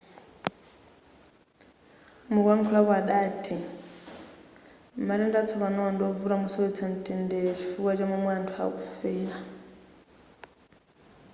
mukuyakhulapo adati matenda atsopanowa ndiwovuta mosowetsa mtendere chifukwa cha momwe anthu akufera